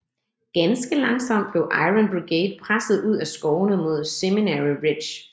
Ganske langsomt blev Iron Brigade presset ud af skovene mod Seminary Ridge